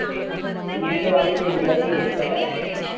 இந்த ayurvedic ayurvedic இருக்குல